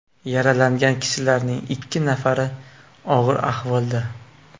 Yaralangan kishilarning ikki nafari og‘ir ahvolda.